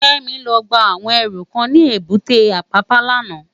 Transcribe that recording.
Kemi lò gbá áwòn èrú kán ni ébùté Apapa làná